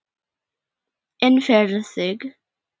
En fyrir þig?